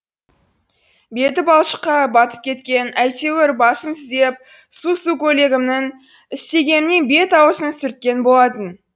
беті балшыққа батып кеткен әйтеуір басын түзеп су су көйлегімнің стегімен бет аузын сүрткен болатын